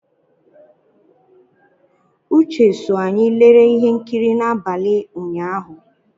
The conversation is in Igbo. Uche so anyị lere ihe nkiri n'abalị ụnyahụ.